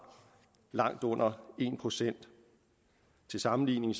langt under en procent og til sammenligning